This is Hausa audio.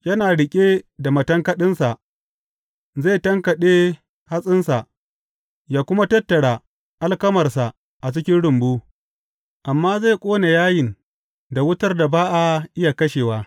Yana riƙe da matankaɗinsa, zai tankaɗe hatsinsa, yă kuma tattara alkamarsa a cikin rumbu, amma zai ƙone yayin da wutar da ba a iya kashewa.